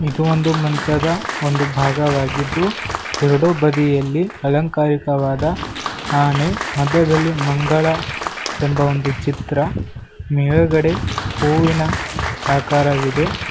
ಇದು ಒಂದು ಮಂಚದ ಒಂದು ಭಾಗವಾಗಿದ್ದು ಎರಡು ಬದಿಯಲ್ಲಿ ಅಲಂಕಾರಿಕವಾದ ಆನೆ ಮಧ್ಯದಲ್ಲಿ ಮಂಗಳ ಎಂಬ ಒಂದು ಚಿತ್ರ ಮೇಲ್ಗಡೆ ಹೂವಿನ ಆಕಾರವಿದೆ.